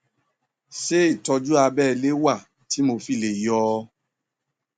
ṣé ìtọjú abẹlé wà tí mo fi lè yọ ọ